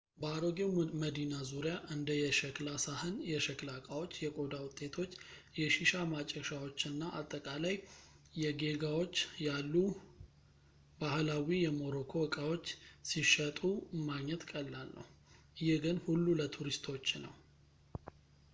በአሮጌው መዲና ዙሪያ እንደ የሸክላ ሳህን የሸክላ ዕቃዎች የቆዳ ውጤቶች የሺሻ ማጨሻዎች እና አጠቃላይ የጌጋዎች ያሉ ባህላዊ የሞሮኮ እቃዎች ሲሸጡ ማግኘት ቀላል ነው ግን ይህ ሁሉ ለቱሪስቶች ነው